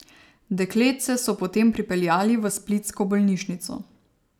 Dekletce so potem prepeljali v splitsko bolnišnico.